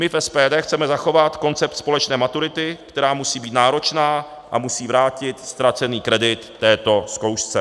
My v SPD chceme zachovat koncept společné maturity, která musí být náročná a musí vrátit ztracený kredit této zkoušce.